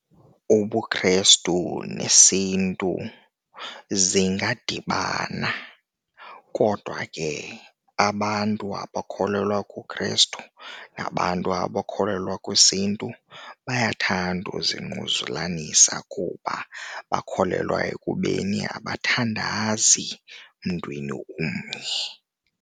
UbuKhrestu nesintu zingadibana kodwa ke abantu abakholelwa kuKhrestu nabantu abakholelwa kwesiNtu bayathanda izingquzulanisa kuba bakholelwa ekubeni abathandazi emntwini omnye.